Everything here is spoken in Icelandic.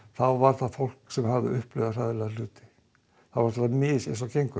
þá var það fólk sem hafði upplifað hræðilega hluti en það var misjafnt eins og gengur